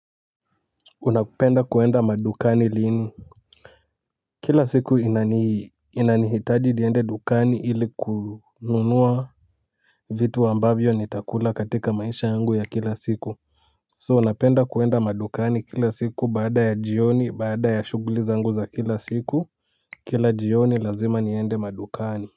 Unapenda kuenda madukani lini? Kila siku inanihitaji niende dukani ili kununua vitu ambavyo nitakula katika maisha yangu ya kila siku. 'So' napenda kuenda madukani kila siku baada ya jioni baada ya shughuliza zangu za kila siku, kila jioni lazima niende madukani.